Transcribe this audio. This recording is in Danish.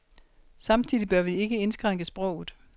Samtidig bør vi ikke indskrænke sproget.